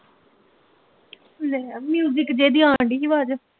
ਲੈ ਆ music ਜਹੇ ਦੀ ਆਉਣ ਡਈ ਆਵਾਜ਼